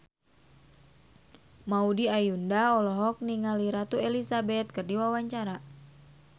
Maudy Ayunda olohok ningali Ratu Elizabeth keur diwawancara